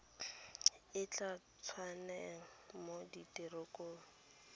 e tla tsengwang mo direkotong